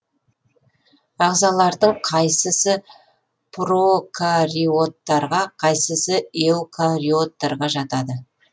ағзалардың қайсысы прокариоттарға қайсысы эукариоттарға жатады